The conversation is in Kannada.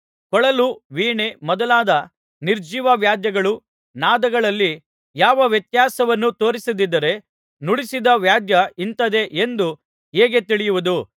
ಕೊಳಲು ವೀಣೆ ಮೊದಲಾದ ನಿರ್ಜೀವವಾದ್ಯಗಳು ನಾದಗಳಲ್ಲಿ ಯಾವ ವ್ಯತ್ಯಾಸವನ್ನೂ ತೋರಿಸದಿದ್ದರೆ ನುಡಿಸಿದ ವಾದ್ಯ ಇಂಥದ್ದೇ ಎಂದು ಹೇಗೆ ತಿಳಿಯುವುದು